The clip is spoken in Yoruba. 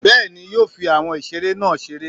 bẹẹni yóò fí awọn ìseré nah ṣeré